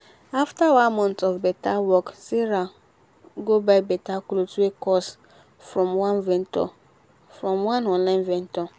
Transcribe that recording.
after one month of better work sarah go buy better cloth wey cost from online vendor